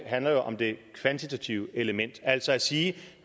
handler jo om det kvantitative element altså at sige